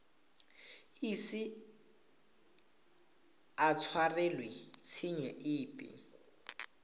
ise a tshwarelwe tshenyo epe